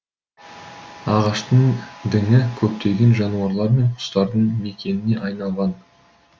ағаштың діңі көптеген жануарлар мен құстардың мекеніне айналған